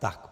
Tak.